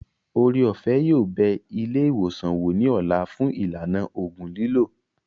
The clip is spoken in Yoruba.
Ore-òfẹ́ yóò bẹ ilé ìwòsàn wò ní ọ̀la fún ìlànà ògùn lílò